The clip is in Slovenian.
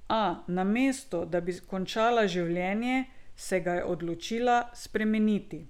A, namesto, da bi končala življenje, se ga je odločila spremeniti.